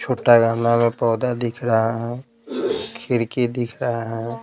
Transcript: छोटा में पौधा दिख रहा है खिड़की दिख रहा है।